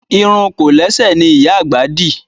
Irun kòlẹ́sẹ̀ ni ìyá àgbà dì